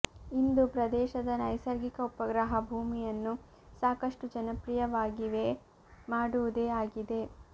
ಇಂದು ಪ್ರದೇಶದ ನೈಸರ್ಗಿಕ ಉಪಗ್ರಹ ಭೂಮಿಯನ್ನು ಸಾಕಷ್ಟು ಜನಪ್ರಿಯವಾಗಿವೆ ಮಾಡುವುದೇ ಆಗಿದೆ